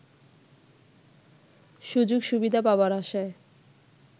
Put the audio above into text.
সুযোগ সুবিধা পাবার আশায়